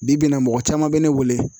Bi bi in na mɔgɔ caman bɛ ne wele